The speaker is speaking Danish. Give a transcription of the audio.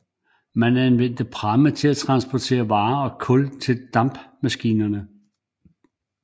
Man anvendte pramme til at transportere varer og kul til dampmaskinerne